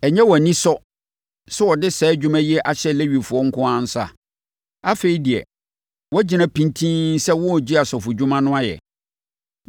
Ɛnyɛ wo anisɔ sɛ ɔde saa adwuma yi ahyɛ Lewifoɔ nko ara nsa? Afei deɛ, woagyina pintinn sɛ woregye asɔfodwuma no ayɛ?